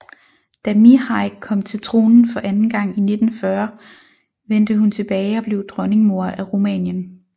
Da Mihai kom til tronen for anden gang i 1940 vente hun tilbage og blev Dronningmor af Rumænien